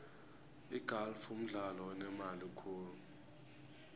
igalfu mdlalo onemali khulu